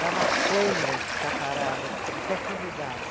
Dava cãibra de ficar parada, o pé formigava.